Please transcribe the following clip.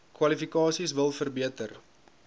kwalifikasies wil verbeter